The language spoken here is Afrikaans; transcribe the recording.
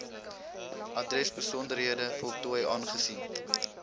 adresbesonderhede voltooi aangesien